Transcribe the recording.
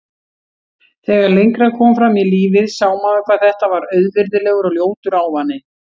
Þegar lengra kom fram í lífið sá maður hvað þetta var auvirðilegur og ljótur ávani.